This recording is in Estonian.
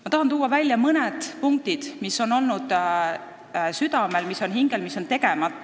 Ma tahan tuua välja mõne punkti, mis on südamel ja mis on hingel, aga mis on seni jäänud tegemata.